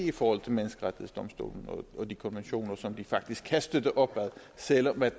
i forhold til menneskerettighedsdomstolen og de konventioner som vi faktisk kan støtte op om selv om